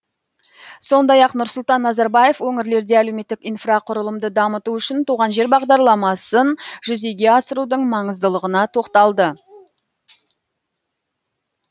сондай ақ нұрсұлтан назарбаев өңірлерде әлеуметтік инфрақұрылымды дамыту үшін туған жер бағдарламасын жүзеге асырудың маңыздылығына тоқталды